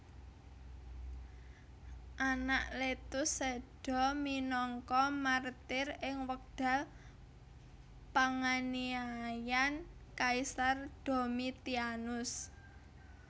Anakletus séda minangka martir ing wekdal panganiayan Kaisar Domitianus